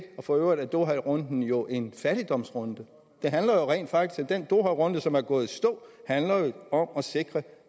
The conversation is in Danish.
og for øvrigt er doharunden jo en fattigdomsrunde den doharunde som er gået i stå handler om at sikre at